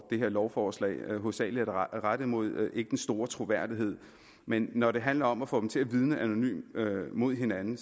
det her lovforslag hovedsagelig er rettet mod ikke den store troværdighed men når det handler om at få dem til at vidne anonymt mod hinanden